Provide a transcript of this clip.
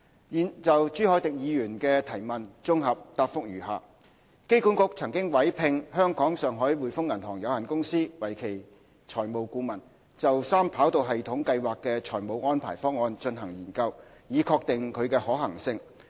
現就朱凱廸議員的質詢綜合答覆如下：機管局曾委聘香港上海滙豐銀行有限公司為其財務顧問，就三跑道系統計劃的財務安排方案進行研究，以確定其可行性。